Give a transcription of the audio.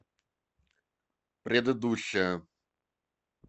предыдущая